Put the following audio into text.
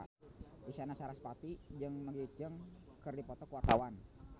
Isyana Sarasvati jeung Maggie Cheung keur dipoto ku wartawan